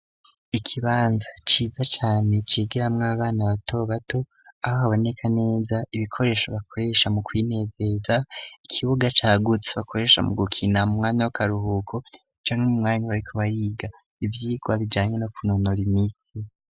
Ikibanza ciza cane kigiramwo abana bato bato aho haboneka neza ibikoresho bakoresha mu kwinezeza ikibuga cagutse bakoresha mu gukina mu mwanya w'akaruhugo camwe mu mwanya warikubariga ivyigwa bijyanye no kunonora imitsi.